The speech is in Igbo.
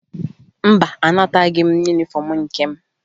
Mba, anataghị m yunifọmụ nke m